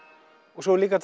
og svo er líka